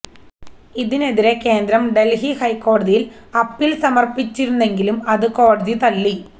ഇതിനെതിരെ കേന്ദ്രം ഡല്ഹി ഹൈക്കോടതിയില് അപ്പീല് സമര്പ്പിച്ചിരുന്നെങ്കിലും അത് കോടതി തള്ളി